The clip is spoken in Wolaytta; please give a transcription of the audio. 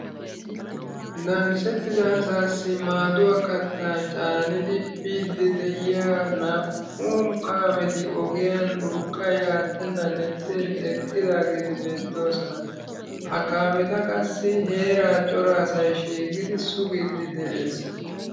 Namisettida asaassi maaduwa kattaa caanidi biiddi de'iya naa"u kaameti ogiyan urqqay aattennan ixxin eqqidaageeti beettooson. Eta qassi heeraa daro asay shiiqidi sugiiddi de'ees.